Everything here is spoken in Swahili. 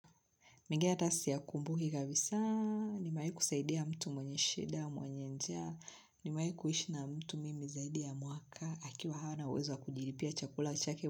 Mengine hata si ya kumbuki kabisa, nimewahi kusaidia mtu mwenye shida mwenye nja, nimawahi kuishi na mtu mimi zaidi ya mwaka, akiwa hana uwezo kujilipia chakula chake.